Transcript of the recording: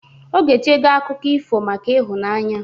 Ogechego akụkọ ifo maka ịhụnanya